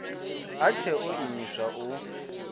a tshe o imiswa u